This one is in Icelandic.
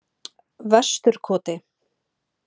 Vesturkoti